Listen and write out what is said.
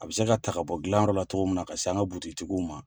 A bɛ se ka ta ka bɔ dilanyɔrɔ la cogo min na, ka se an ka butigitigiw ma.